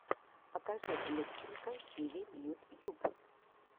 покажи любченко тиви ютьюб